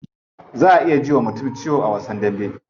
Za a iya ji wa mutum ciwo a wasan dambe.